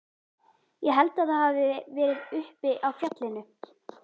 Ég held að það hafi verið uppi á fjallinu.